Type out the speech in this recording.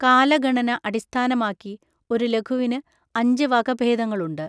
കാലഗണന അടിസ്ഥാനമാക്കി ഒരു ലഘുവിന് അഞ്ച് വകഭേദങ്ങളുണ്ട്.